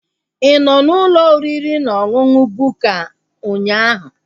Ị nọ n'ụlọ oriri na ọṅụṅụ Bukka ụnyaahụ?